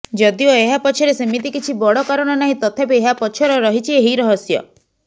ଯଦିଓ ଏହା ପଛରେ ସେମିତି କିଛି ବଡ଼ କାରଣ ନାହିଁ ତଥାପି ଏହା ପଛର ରହିଛି ଏହି ରହସ୍ୟ